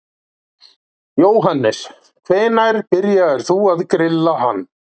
Jóhannes: Hvenær byrjaðir þú að grilla hann?